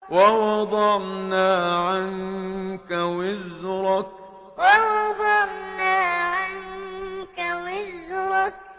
وَوَضَعْنَا عَنكَ وِزْرَكَ وَوَضَعْنَا عَنكَ وِزْرَكَ